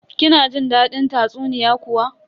Kina jin dadin tatsuniya kuwa?